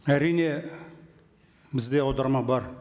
әрине бізде аударма бар